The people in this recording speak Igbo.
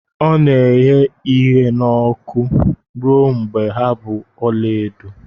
Ọ na-eghe ibe n'ọkụ ruo mgbe ha bụ ọla edo.